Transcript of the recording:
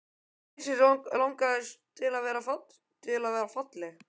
Mikið sem mig langaði til að vera falleg.